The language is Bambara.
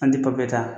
An ti papiye ta